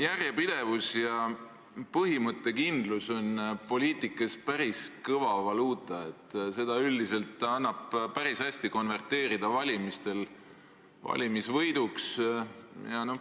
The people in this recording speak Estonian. Järjepidevus ja põhimõttekindlus on poliitikas päris kõva valuuta, seda üldiselt annab valimistel päris hästi konverteerida valimisvõiduks.